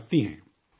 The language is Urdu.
ہاں، اور کیا